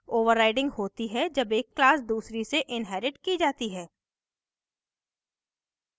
overriding होती है जब एक class दूसरी से inherited की जाती है